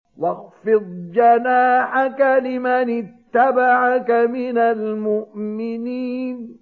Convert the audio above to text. وَاخْفِضْ جَنَاحَكَ لِمَنِ اتَّبَعَكَ مِنَ الْمُؤْمِنِينَ